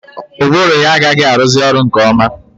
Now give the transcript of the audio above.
Ụbụrụ ya agaghị arụzi ọrụ nke ọma.